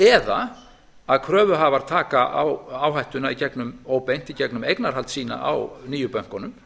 eða að kröfuhafar taka áhættuna óbeint í gegnum eignarhald sitt á nýju bönkunum